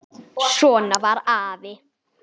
Svona var afi.